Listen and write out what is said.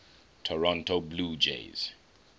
toronto blue jays